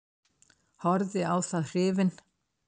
Horfði á það hrifinn.